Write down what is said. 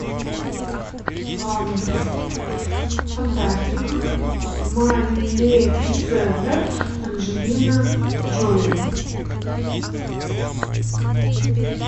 фантастика малефисента анджелина джоли